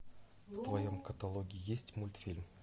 в твоем каталоге есть мультфильм